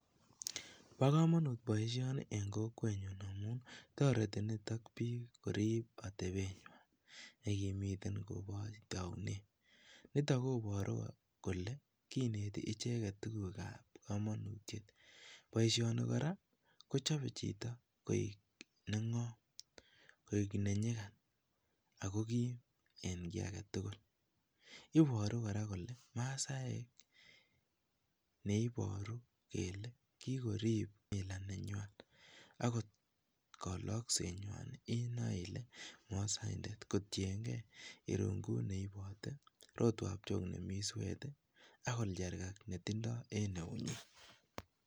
Bokomonut boishoni en kokwenyun amun toreti nitok biik korib atebenywan nekimiten koboch tounet, niton koboru kolee kinete icheket tukukab komonutiet, boishoni kora kochobe chito koik neng'om koik be nyikan ak ko kiim en kii aketukul, iboru kora kole masaek neiboru kele kikorib kimila nenywan akot koloksenywan inoe ilee mosokndet kotieng'e irung'ut neibote, rotwab John nemii sweet ak olcharkak netindo en eunyin.